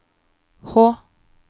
H